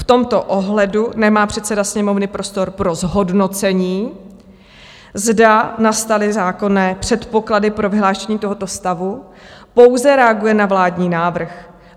V tomto ohledu nemá předseda Sněmovny prostor pro zhodnocení, zda nastaly zákonné předpoklady pro vyhlášení tohoto stavu, pouze reaguje na vládní návrh.